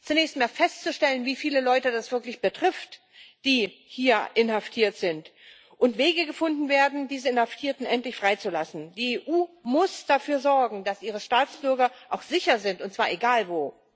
Zunächst einmal ist festzustellen, wie viele Leute das wirklich betrifft, die hier inhaftiert sind, und es müssen Wege gefunden werden, diese Inhaftierten endlich freizulassen. Die EU muss dafür sorgen, dass ihre Staatsbürger auch sicher sind, und zwar egal wo.